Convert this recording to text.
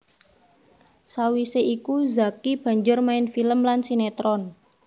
Sawisé iku Zacky banjur main film lan sinetron